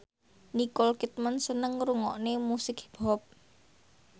Nicole Kidman seneng ngrungokne musik hip hop